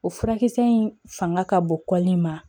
O furakisɛ in fanga ka bon kɔli in ma